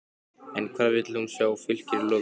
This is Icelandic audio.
En hvar vil hún sjá Fylkir í lok tímabilsins?